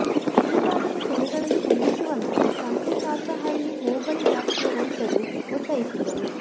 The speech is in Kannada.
ಈ ಭಾಗದ ಕೆರೆಗಳನ್ನು ತುಂಬಿಸುವಂತೆ ಸಂತೆಬಾಚಹಳ್ಳಿ ಹೋಬಳಿ ವ್ಯಾಪ್ತಿಯ ರೈತರು ಒತ್ತಾಯಿಸಿದ್ದರು